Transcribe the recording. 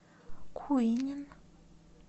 куинен